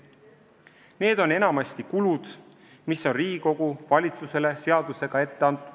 Need on enamasti kulud, mis on Riigikogu valitsusele seadusega ette andnud.